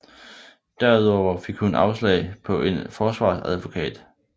Derudover fik hun afslag på en forsvarsadvokat